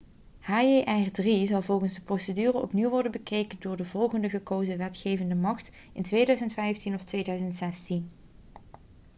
hjr-3 zal volgens de procedure opnieuw worden bekeken door de volgende gekozen wetgevende macht in 2015 of 2016